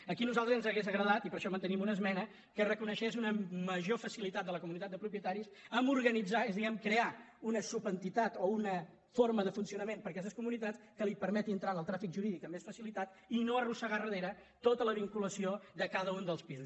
aquí a nosaltres ens hauria agradat i per això mantenim una esmena que es reconegués una major facilitat de la comunitat de propietaris a organitzar és a dir a crear una subentitat o una forma de funcionament per a aquestes comunitats que li permeti entrar en el tràfic jurídic amb més facilitat i no arrossegar al darrere tota la vinculació de cada un dels pisos